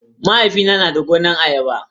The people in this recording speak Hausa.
Mahaifina na da gonar ayaba.